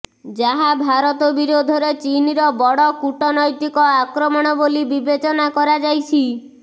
ଯାହା ଭାରତ ବିରୋଧରେ ଚୀନର ବଡ କୂଟନୈତିକ ଆକ୍ରମଣ ବୋଲି ବିବେଚନା କରାଯାଇଛି